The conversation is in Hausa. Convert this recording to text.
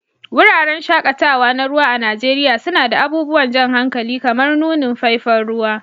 Wuraren shaƙatawa na ruwa a Najeriya suna da abubuwan jan hankali kamar nunin faifan ruwa